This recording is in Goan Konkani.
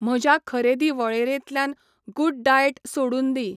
म्हज्या खरेदी वळेरेंतल्यान गुडडाएट सोडून दी.